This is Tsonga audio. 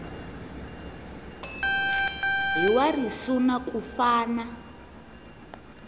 hi wa risuna ku fana